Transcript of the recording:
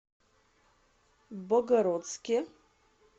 богородске